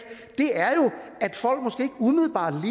umiddelbart